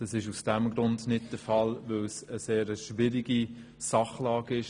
Es ist aus dem Grund nicht der Fall, weil die Sachlage sehr schwierig ist.